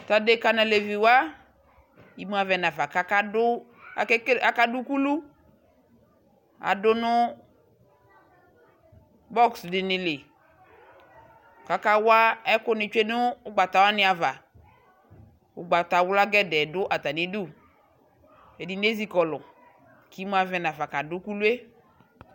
Tʊ adeka nʊ aleviwa imu avɛ nafa kʊ akadʊ ukulu, adʊ nʊ iko dɩnɩ li, kʊ akawa ɛkʊ nɩ tsue nʊ ugbatawanɩ ava, ugbatawla poo dʊ atamidu, ɛdɩnɩ ezikɔlʊ, kʊ imu avɛ nafa kadʊ ukulu yɛ